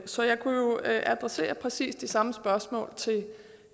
så jeg kunne jo adressere præcis det samme spørgsmål til